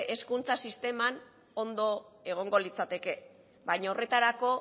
hezkuntza sisteman ondo egongo litzateke baina horretarako